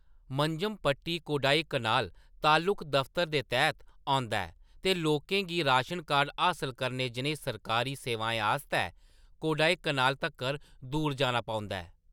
मंजमपट्टी कोडाईकनाल तालुक दफतर दे तैह्‌त औंदा ऐ, ते लोकें गी राशन कार्ड हासल करने जनेही सरकारी सेवाएं आस्तै कोडाईकनाल तक्कर दूर जाना पौंदा ऐ।